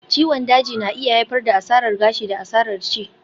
Ciwon daji na iya haifar da asarar gashi da asarar ci